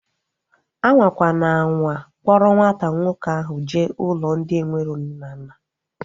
Anwakwana anwa kpọrọ nwata nwoke ahu jee ụlọ ndị enwero nne na nna!